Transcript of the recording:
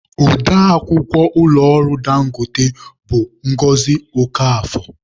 Ode akwukwọ ụlọ ọrụ Dangote bụ Ngọzi Okafor.